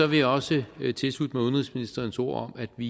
vil jeg også tilslutte mig udenrigsministerens ord om at vi